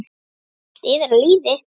Allt iðar af lífi.